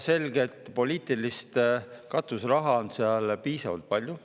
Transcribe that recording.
Selget poliitilist katuseraha on seal piisavalt palju.